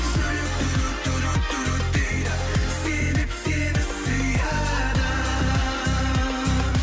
жүрек дейді себеп сені сүйеді